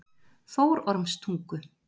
Þórormstungu